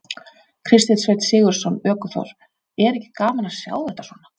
Kristinn Sveinn Sigurðsson, ökuþór: Er ekki gaman að sjá þetta svona?